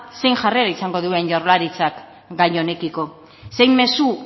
zein jarrera izango duen jaurlaritzak gai honekiko zein mezu